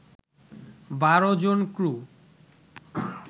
১২ জন ক্রু